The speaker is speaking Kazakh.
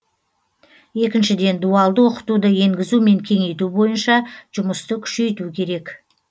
екіншіден дуалды оқытуды енгізу мен кеңейту бойынша жұмысты күшейту керек